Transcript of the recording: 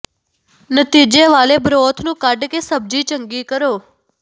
ਨਤੀਜੇ ਵਾਲੇ ਬਰੋਥ ਨੂੰ ਕੱਢ ਕੇ ਸਬਜ਼ੀ ਚੰਗੀ ਕਰੋ